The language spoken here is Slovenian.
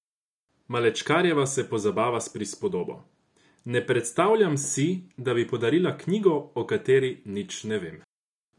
Malečkarjeva se pozabava s prispodobo: "Ne predstavljam si, da bi podarila knjigo, o kateri nič ne vem.